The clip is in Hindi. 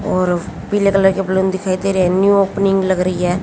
और पीले कलर के बैलून दिखाई दे रहे हैं न्यू ओपनिंग लग रही है।